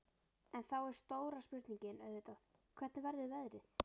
En þá er stóra spurningin auðvitað, hvernig verður veðrið?